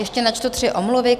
Ještě načtu tři omluvy.